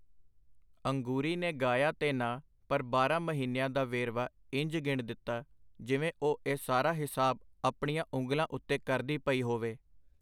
ਅੰਗੂਰੀ ਨੇ ਗਾਇਆ ਤੇ ਨਾ ਪਰ ਬਾਰਾਂ ਮਹੀਨਿਆਂ ਦਾ ਵੇਰਵਾ ਇੰਜ ਗਿਣ ਦਿਤਾ, ਜਿਵੇਂ ਉਹ ਇਹ ਸਾਰਾ ਹਿਸਾਬ ਆਪਣੀਆਂ ਉਂਗਲਾਂ ਉਤੇ ਕਰਦੀ ਪਈ ਹੋਵੇ.